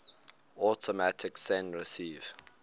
automatic send receive